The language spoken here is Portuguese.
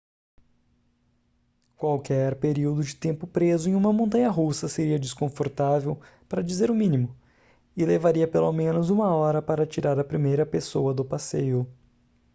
qualquer período de tempo preso em uma montanha-russa seria desconfortável para dizer o mínimo e levaria pelo menos uma hora para tirar a primeira pessoa do passeio